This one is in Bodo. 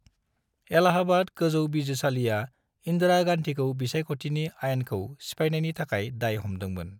इलाहाबाद गोजौ बिजिरसालिया इन्दिरा गान्धीखौ बिसायख'थिनि आयेनखौ सिफायनायनि थाखाय दाय हमदोंमोन।